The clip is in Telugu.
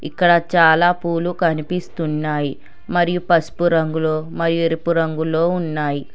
ఇక్కడ చాలా పూలు కనిపిస్తున్నాయి మరియు పసుపు రంగులోమరియు ఎరుపు రంగులో ఉన్నాయి.